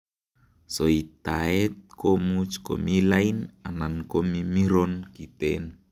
Soitaet komuch komi lain anan komimiron kiten.